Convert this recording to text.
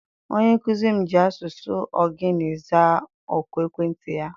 Onye nkuzi m ji asụsụ Ogoni zaa oku ekwentị ya.